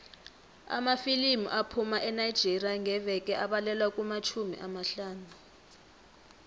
amafilimu aphuma enigeria ngeveke abalelwa kumatjhumi amahlanu